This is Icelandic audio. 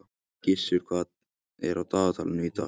Gissur, hvað er á dagatalinu í dag?